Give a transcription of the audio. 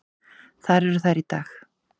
Þar eru þær í dag.